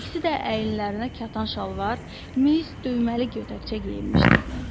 İkisi də əyinlərinə kətan şalvar, mis düyməli gödəkçə geyinmişdi.